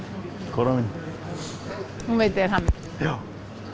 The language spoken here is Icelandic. konan mín hún veitir þér hamingju já